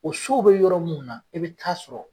O sow be yɔrɔ mun na i bɛ taa sɔrɔ